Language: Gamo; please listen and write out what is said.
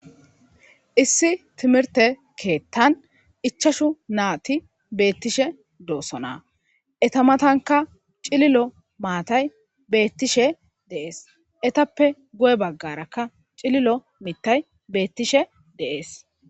issi timirte keettan ichashu naati beettishe doossona etamatanka cililo maatay beettishe deees etappe go7e baggarakka cililo mittay beettishe deees